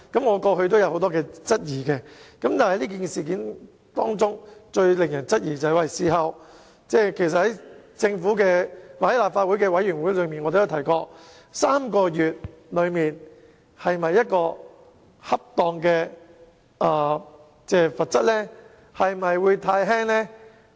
我過去也曾經提出不少質疑，而這事件最令人質疑的地方是，正如我在政府或立法會委員會上也曾經提出，暫停3個月競投這項罰則是否恰當呢？